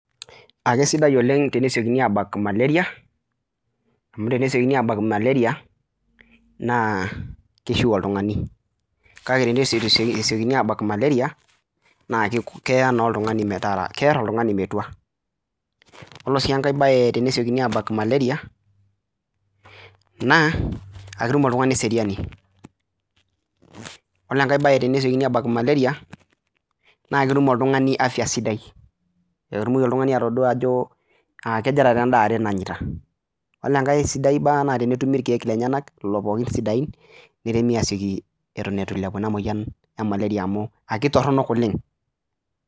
Aikesidai oleng tenesiokini abak malaria, amuu tenesiokini abak malaria naa keishiu oltung'ani. Kake teneitu esiokini aabak malaria naa kear naa oltung'ani metua. Iyiolo sii enkae baye tenesiokini aabak malaria, naa aikitum oltung'ani eseriani. Iyiolo enkae baye tenesiokini abak malaria naa ketum oltung'ani afya sidai pee etumoki oltung'ani atoduaa ajio keretito en'daa nanyaita. Oore enkae baye sidai naa tenetumi irkeek lenyenak neremi asioki eton eitu eilepu iina mueyian e malaria amuu aikatoronok oleng.